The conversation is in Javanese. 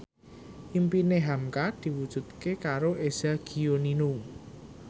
impine hamka diwujudke karo Eza Gionino